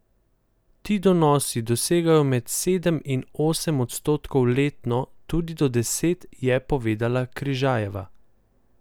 Ti donosi dosegajo med sedem in osem odstotkov letno, tudi do deset, je povedala Križajeva.